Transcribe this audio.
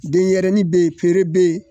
Denyɛrɛnin be yen peere be yen